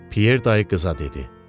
Pyer dayı qıza dedi.